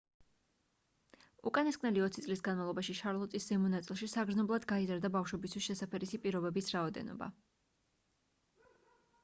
უკანასკნელი 20 წლის განმავლობაში შარლოტის ზემო ნაწილში საგრძნობლად გაიზარდა ბავშვებისთვის შესაფერისი პირობების რაოდენობა